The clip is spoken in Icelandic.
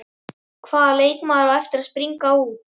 Hvaða leikmaður á eftir að springa út?